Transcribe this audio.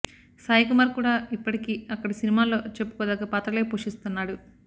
సాయి కుమార్ కూడా ఇప్పటికీ అక్కడి సినిమాల్లో చెప్పుకోదగ్గ పాత్రలే పోషిస్తున్నాడు